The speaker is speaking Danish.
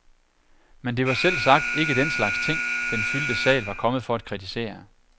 Men det var selvsagt ikke den slags ting, den fyldte sal var kommet for at kritisere.